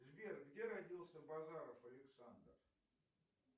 сбер где родился базаров александр